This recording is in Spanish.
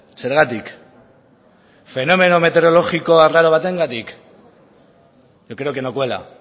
zergatik fenomeno metereologiko arraro batengatik yo creo que no cuela